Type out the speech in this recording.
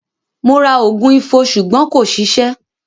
Mo ra ògùn Ifo ṣùgbọ́n kò ṣiṣẹ́.